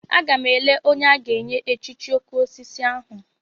Agam ele onye a ga-enye echichi okosisi ahu.